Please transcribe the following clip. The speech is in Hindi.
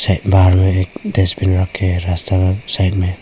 बाहर में डस्टबिन रखे हैं रास्ता साइड में।